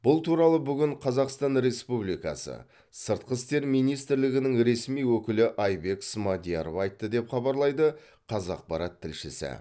бұл туралы бүгін қазақстан республикасы сыртқы істер министрлігінің ресми өкілі айбек смадияров айтты деп хабарлайды қазақпарат тілшісі